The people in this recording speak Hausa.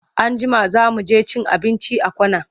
Anjima za mu je cin abinci a corner.